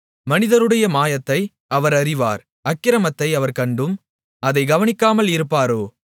மனிதருடைய மாயத்தை அவர் அறிவார் அக்கிரமத்தை அவர் கண்டும் அதைக் கவனிக்காமல் இருப்பாரோ